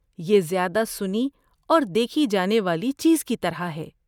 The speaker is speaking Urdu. یہ زیادہ سنی اور دیکھی جانے والی چیز کی طرح ہے۔